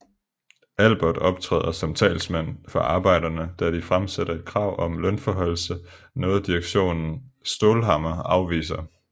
Albert optræder som talsmand for arbejderne da de fremsætter et krav om lønforhøjelse noget direktøren Staalhammer afviser